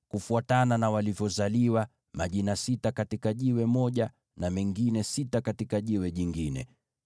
kufuatana na walivyozaliwa: majina sita katika kito kimoja, na mengine sita katika kito kingine.